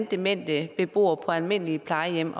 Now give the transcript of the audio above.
demente beboere på almindelige plejehjem